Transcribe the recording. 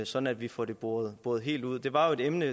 sådan at vi får det boret helt ud det var jo et emne